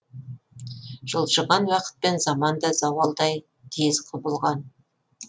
жылжыған уақытпен заман да зауалдай тез құбылған